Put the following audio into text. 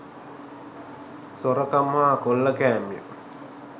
සොරකම් හා කොල්ලකෑම්ය